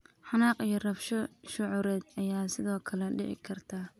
Xanaaq iyo rabsho shucuureed ayaa sidoo kale dhici karta.